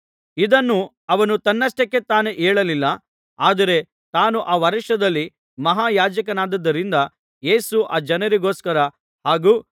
ಇದನ್ನು ಅವನು ತನ್ನಷ್ಟಕ್ಕೆ ತಾನೇ ಹೇಳಲಿಲ್ಲ ಆದರೆ ತಾನು ಆ ವರ್ಷದಲ್ಲಿ ಮಹಾಯಾಜಕನಾಗಿದ್ದುದರಿಂದ ಯೇಸು ಆ ಜನರಿಗೋಸ್ಕರ ಹಾಗೂ